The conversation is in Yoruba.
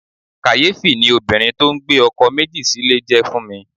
Kàyéfì ni obìnrin tó ń gbé ọkọ̀ méjì sílè jẹ́ fún mi.